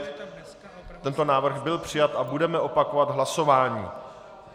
Tento návrh byl přijat a budeme opakovat hlasování.